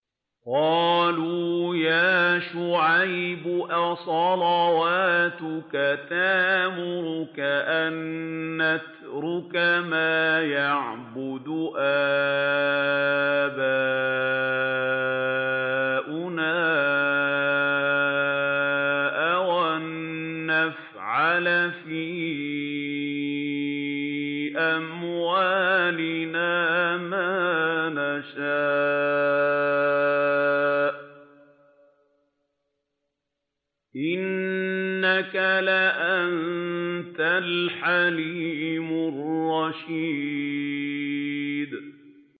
قَالُوا يَا شُعَيْبُ أَصَلَاتُكَ تَأْمُرُكَ أَن نَّتْرُكَ مَا يَعْبُدُ آبَاؤُنَا أَوْ أَن نَّفْعَلَ فِي أَمْوَالِنَا مَا نَشَاءُ ۖ إِنَّكَ لَأَنتَ الْحَلِيمُ الرَّشِيدُ